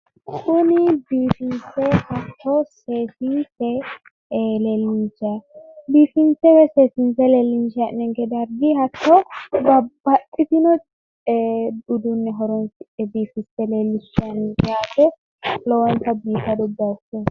kuni biifinse hatto seesinse, biifinse woyi seesiinse leellinshayi hee'noyinke dargi hatto babbaxitino udduunne horonsi'ne biifisse leellishayi no yaate. Lowonta biifado baayichooti.